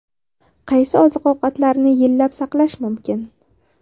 Qaysi oziq-ovqatlarni yillab saqlash mumkin?